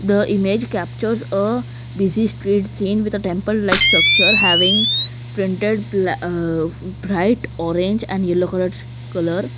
the image captures a busy street seen with a temple like structure having printed bla aah bright orange and yellow coloured colour.